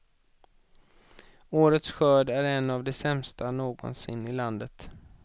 Årets skörd är en av de sämsta någonsin i landet.